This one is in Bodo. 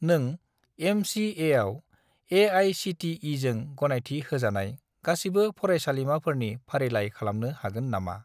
नों एम.चि.ए.आव ए.आइ.सि.टि.इ.जों गनायथि होजानाय गासिबो फरायसालिमाफोरनि फारिलाइ खालामनो हागोन नामा?